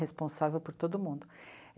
Responsável por todo mundo.